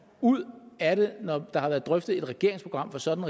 ud af det når der har været drøftet et regeringsprogram for sådan